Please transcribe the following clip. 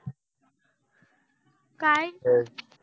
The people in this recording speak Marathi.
काय